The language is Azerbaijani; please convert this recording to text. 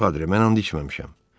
Padri, mən and içməmişəm.